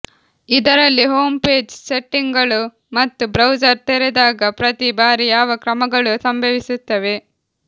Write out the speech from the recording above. ಇದರಲ್ಲಿ home page ಸೆಟ್ಟಿಂಗ್ಗಳು ಮತ್ತು ಬ್ರೌಸರ್ ತೆರೆದಾಗ ಪ್ರತಿ ಬಾರಿ ಯಾವ ಕ್ರಮಗಳು ಸಂಭವಿಸುತ್ತವೆ